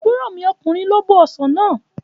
Àbúrò mi ọkùnrin ló bó ọsàn náà